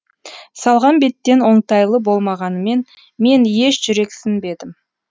салған беттен оңтайлы болмағанымен мен еш жүрексінбедім